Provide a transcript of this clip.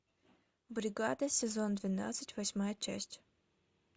бригада сезон двенадцать восьмая часть